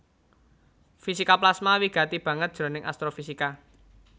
Fisika plasma wigati banget jroning astrofisika